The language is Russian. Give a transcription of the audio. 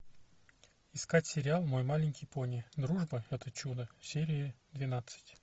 искать сериал мой маленький пони дружба это чудо серия двенадцать